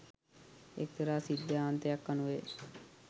එක්තරා සිද්ධාන්තයක් අනුවය.